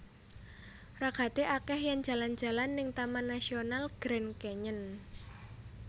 Ragate akeh yen jalan jalan ning Taman Nasional Grand Canyon